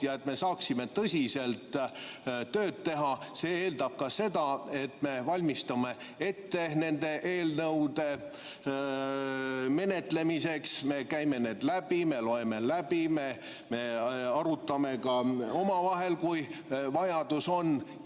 See, et me saaksime tõsiselt tööd teha, eeldab ka seda, et me valmistume nende eelnõude menetlemiseks, me käime need läbi, me loeme läbi, me arutame ka omavahel, kui vajadus on.